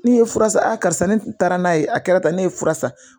Ne ye fura san ne taara n'a ye a kɛra tan ne ye fura san